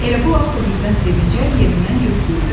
Elə bu vaxt o birdən sevincə yerindən götürüldü.